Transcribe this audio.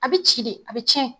A bi ci de, a be cɛn.